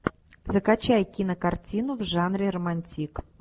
закачай кинокартину в жанре романтик